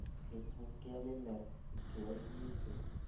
Gĩkuo kĩa mĩmera ikĩro -inĩ njũru